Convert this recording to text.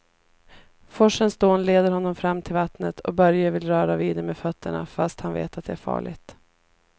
Forsens dån leder honom fram till vattnet och Börje vill röra vid det med fötterna, fast han vet att det är farligt.